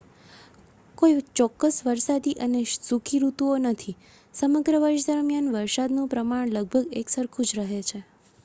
"કોઈ ચોક્કસ "વરસાદી" અને "સૂકી" ઋતુઓ નથી: સમગ્ર વર્ષ દરમિયાન વરસાદનું પ્રમાણ લગભગ એકસરખું જ રહે છે.